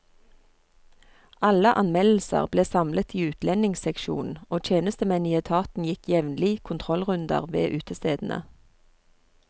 Alle anmeldelser ble samlet i utlendingsseksjonen, og tjenestemenn i etaten gikk jevnlig kontrollrunder ved utestedene.